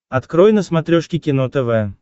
открой на смотрешке кино тв